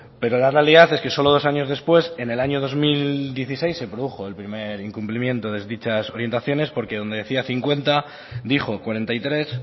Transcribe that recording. pero la realidad es que solo dos años después en el año dos mil dieciséis se produjo el primer incumplimiento de dichas orientaciones porque donde decía cincuenta dijo cuarenta y tres